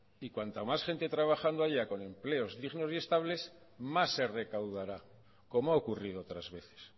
y cuanta más gente trabajando haya con empleos dignos y estables más se recaudará como ha ocurrido otras veces